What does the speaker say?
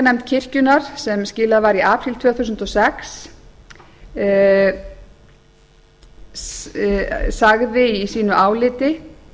kenningarnefnd kirkjunnar sem skilað var í apríl tvö þúsund og sex sagði í sínu áliti